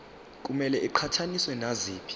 kumele iqhathaniswe naziphi